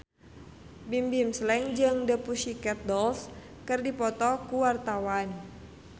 Bimbim Slank jeung The Pussycat Dolls keur dipoto ku wartawan